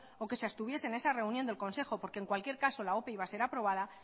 o que se abstuviese en esa reunión del consejo porque en cualquier caso la ope iba a ser aprobada